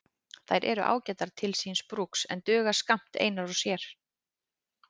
Þær eru ágætar til síns brúks en duga skammt einar og sér.